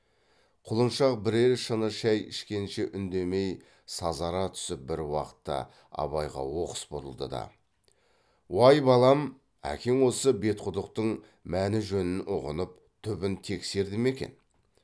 құлыншақ бірер шыны шай ішкенше үндемей сазара түсіп бір уақытта абайға оқыс бұрылды да уай балам әкең осы бетқұдықтың мәні жөнін ұғынып түбін тексерді ме екен